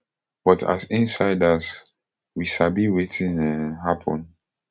but as insiders we sabi wetin um happun